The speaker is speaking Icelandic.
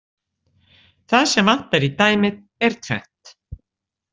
Það sem vantar í dæmið er tvennt.